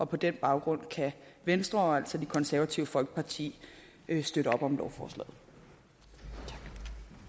på den baggrund kan venstre og altså det konservative folkeparti støtte op om lovforslaget